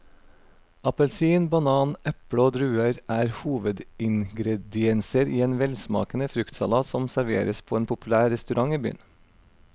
Appelsin, banan, eple og druer er hovedingredienser i en velsmakende fruktsalat som serveres på en populær restaurant i byen.